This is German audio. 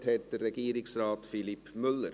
Das Wort hat Regierungsrat Philippe Müller.